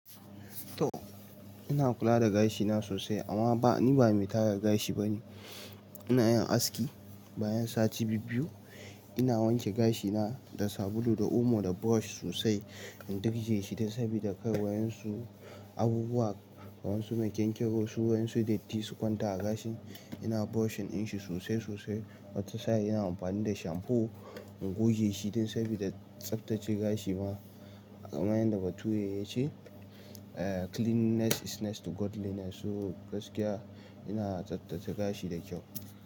To ina kula da gashina sosai amma ba ni ba mai tara gashi bane. Ina yin aski bayan sati biyu, ina wanke gashina da sabulu da omo da brush sosai in durje shi dan sabida kai wayan su abubuwa wayan su mai kyankyaso wayan su datti su kwanta a gashin. Ina brushing in shi sosai sosai, wata sai ina amfani da shamfu in goge shi dan sabida tsaftace gashi ma. Kamyanda da bature ya ce, eh "cleanliness is next to godliness" so gaskiya ina tsaftace gashi da kyau.